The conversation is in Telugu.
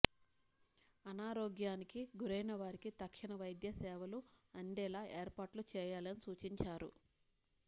అనారోగ్యానికి గురైన వారికి తక్షణ వైద్య సేవలు అందేలా ఏర్పాట్లు చేయాలని సూచించారు